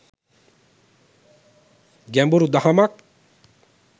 ගැඹුරු දහමක්.